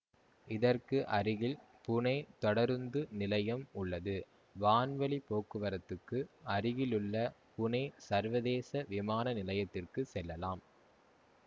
இதற்கு அருகில் புனே தொடருந்து நிலையம் உள்ளது வான்வழி போக்குவரத்துக்கு அருகிலுள்ள புனே சர்வதேச விமான நிலையத்திற்கு செல்லலாம்